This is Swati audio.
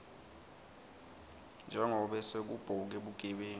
njengobe sekubhoke bugebengu